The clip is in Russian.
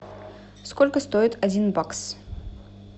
сколько стоит один бакс